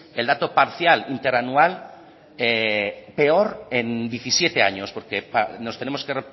el dato parcial interanual peor en diecisiete años porque nos tenemos que